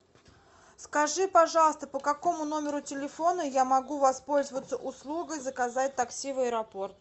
скажи пожалуйста по какому номеру телефона я могу воспользоваться услугой заказать такси в аэропорт